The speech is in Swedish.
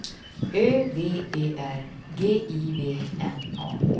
Ö V E R G I V N A